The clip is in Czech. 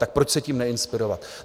Tak proč se tím neinspirovat?